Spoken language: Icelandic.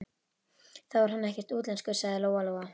Þá er hann ekkert útlenskur, sagði Lóa Lóa.